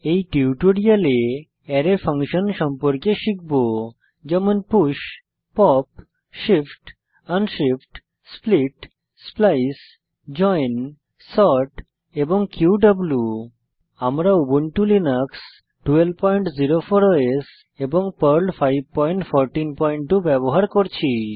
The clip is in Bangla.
এই টিউটোরিয়ালে আরায় ফাংশন সম্পর্কে শিখব যেমন 000011 000010 push pop shift unshift split splice join sort এবং কিউ আমরা উবুন্টু লিনাক্স 1204 ওএস এবং পার্ল 5142 ব্যবহার করছি